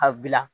A bila